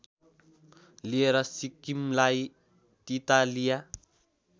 लिएर सिक्किमलाई तितालिया